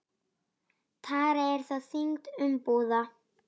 Tara er þá þyngd umbúða.